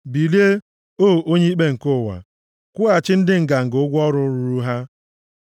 Bilie, o Onye Ikpe nke ụwa; kwụghachi ndị nganga ụgwọ ọrụ ruuru ha.